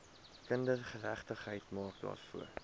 kindergeregtigheid maak daarvoor